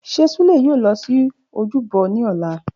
Ṣe Sule yoo lọ si ojúbọ ni ọla?